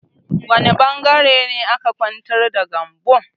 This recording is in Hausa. Wani ɓangaren ne aka ƙwantar da Gambo?